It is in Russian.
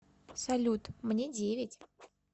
салют мне девять